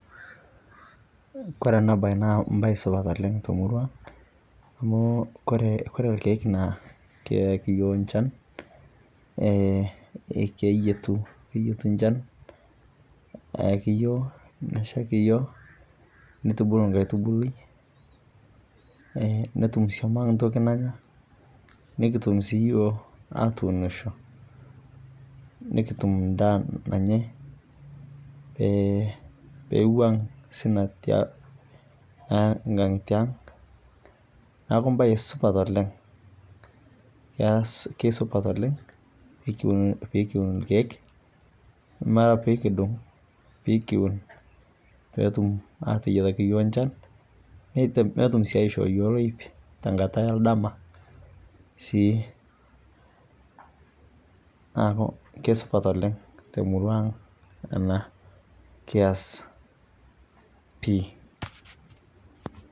Kore ena bae naa embae supat oleng' te murua. Amu kore ilkiek naa keaki iyiok enchan, keyietu enchan eyaki iyioki neshaiki iyiok neitubulu nkaitubului netum sioma entoki nanya, nekitum sii iyiok atuunsho nikitum endaa nanyai peeiwuang' osina tiang' neaku embae supat oleng'. Keisupata oleng', pee kiun ilkiek ama piikidung' pii kiun peetum ateyietaki iyiok enchan netum sii aishoo iyiok oloip te nkata e ndama neaku aisupat oleng' te murua ang' kias pii. .